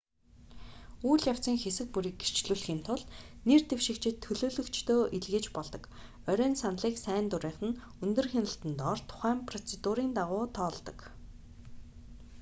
үйл явцын хэсэг бүрийг гэрчлүүлэхийн тулд нэр дэвшигчид төлөөлөгчдөө илгээж болдог орой нь саналыг сайн дурынхан өндөр хяналтан дор тодорхой процедурын дагуу тоолдог